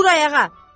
Dur ayağa!